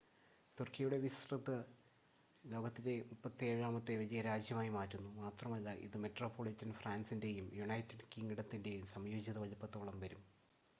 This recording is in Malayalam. തുർക്കിയുടെ വിസ്‌തൃതി ലോകത്തിലെ 37-ാമത്തെ വലിയ രാജ്യമായി മാറ്റുന്നു മാത്രമല്ല ഇത് മെട്രോപൊളിറ്റൻ ഫ്രാൻസിൻ്റെയും യുണൈറ്റഡ് കിംഗ്ഡത്തിൻ്റെയും സംയോജിത വലുപ്പത്തോളം വരും